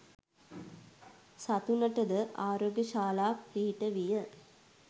සතුනට ද ආරෝග්‍යශාලා පිහිටවිය.